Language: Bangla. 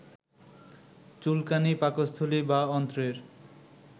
চুলকানী, পাকস্থলী বা অন্ত্রের